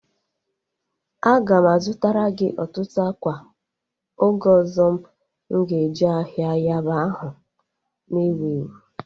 A ga m a zụtara gị ọtụtụ ákwà oge ọzọ m ga eje ahịa Yaba ahụ na-ewu ewu